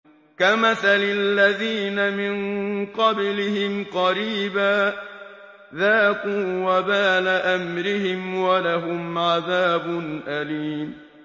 كَمَثَلِ الَّذِينَ مِن قَبْلِهِمْ قَرِيبًا ۖ ذَاقُوا وَبَالَ أَمْرِهِمْ وَلَهُمْ عَذَابٌ أَلِيمٌ